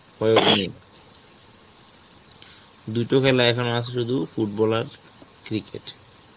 প্রয়োগ নেই. দুইটা খালা এখন আছে শুধু football আর cricket.